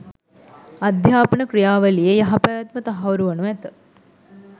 අධ්‍යාපන ක්‍රියාවලියේ යහපැවැත්ම තහවුරු වනු ඇත.